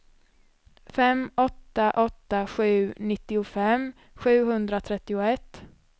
fem åtta åtta sju nittiofem sjuhundratrettioett